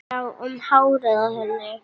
Jú, um hárið á henni!